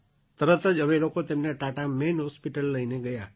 તરત જ અમે લોકો તેમને ટાટા મેઇન હૉસ્પિટલ લઈને ચાલ્યા ગયા